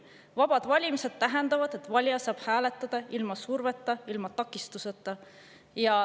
Vabad valimised tähendavad, et valija saab hääletada ilma surveta, ilma takistuseta.